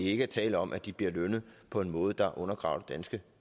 ikke er tale om at de bliver lønnet på en måde der undergraver